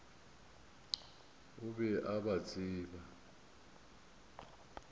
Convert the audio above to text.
o be a ba tseba